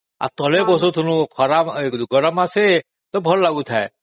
ଆଉ ତଳେ ବାସୁଥିଲୁ ଗରମ ମାସେ ଭଲ ଲାଗୁଥାଏ